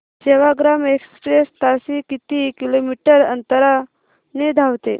Sevagram express ताशी किती kilometre अंतराने धावते